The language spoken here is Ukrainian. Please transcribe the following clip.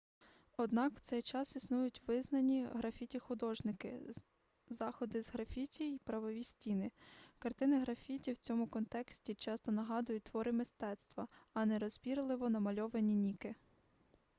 однак в цей час існують визнані графіті-художники заходи з графіті й правові стіни картини графіті в цьому контексті часто нагадують твори мистецтва а не нерозбірливо намальованані ніки